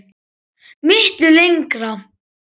Miklu lengra.